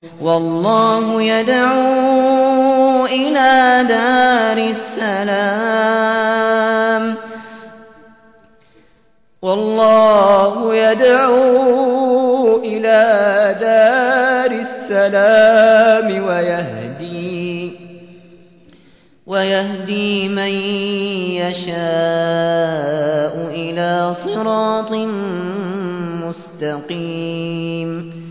وَاللَّهُ يَدْعُو إِلَىٰ دَارِ السَّلَامِ وَيَهْدِي مَن يَشَاءُ إِلَىٰ صِرَاطٍ مُّسْتَقِيمٍ